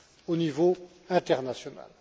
au niveau international.